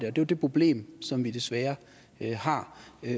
er jo det problem som vi desværre har